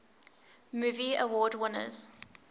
movie award winners